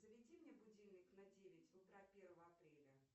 заведи мне будильник на девять утра первого апреля